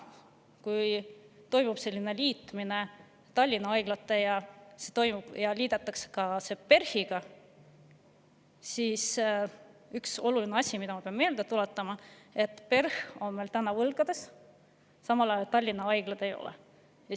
Kui toimub selline liitmine, et Tallinna haiglad ja ka PERH liidetakse, siis ma pean üht olulist asja meelde tuletama: PERH on täna võlgades, samal ajal Tallinna haiglad ei ole.